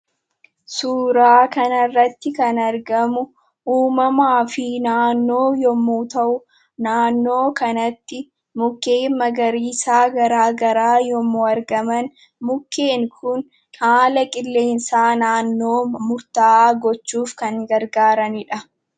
Suuraa kanarratti kan argamu, uumamaa fi naannoo yemmuu ta'u, naannoo kanatti mukkeen magariisaa garaagaraa yemmuu argaman makkeen Kun haala qileensaa naannoo murtaawaa gochuuf kan gargaaranidha.